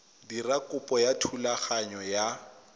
dira kopo ya thulaganyo ya